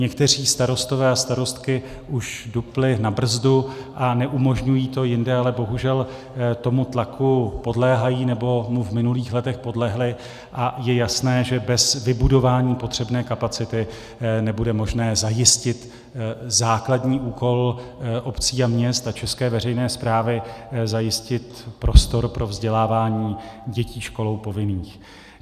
Někteří starostové a starostky už dupli na brzdu a neumožňují to, jinde ale bohužel tomu tlaku podléhají, nebo mu v minulých letech podlehli, a je jasné, že bez vybudování potřebné kapacity nebude možné zajistit základní úkol obcí a měst a české veřejné správy - zajistit prostor pro vzdělávání dětí školou povinných.